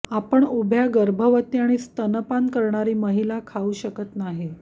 आपण उभ्या गर्भवती आणि स्तनपान करणारी महिला खाऊ शकत नाही